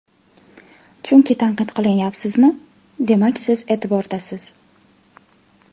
Chunki tanqid qilinyapsizmi, demak siz e’tibordasiz.